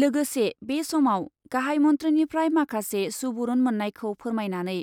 लोगोसे बे समाव गाहाइ मन्थ्रिनिफ्राय माखासे सुबुरुन मोन्नायखौ फोरमायनानै